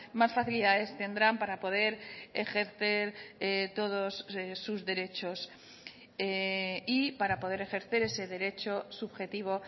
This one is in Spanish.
más facilidades tendrán para poder ejercer todos sus derechos y para poder ejercer ese derecho subjetivo